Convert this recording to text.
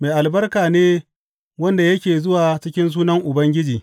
Mai albarka ne wanda yake zuwa cikin sunan Ubangiji!